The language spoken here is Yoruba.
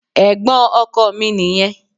Ẹ̀gbọ́n ọkọ mi nìyẹn.